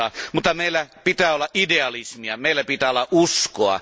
Mutta meillä pitää olla idealismia, meillä pitää olla uskoa!